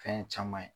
Fɛn caman ye